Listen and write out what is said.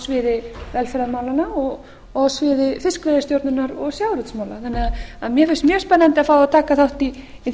sviði velferðarmálanna og á sviði fiskveiðistjórnar og sjávarútvegsmála þannig að mér finnst mjög spennandi að fá að taka þátt í